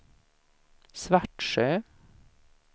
Svartsjö